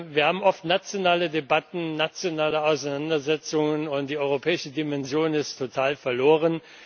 Wir haben oft nationale Debatten, nationale Auseinandersetzungen, und die europäische Dimension geht total verloren.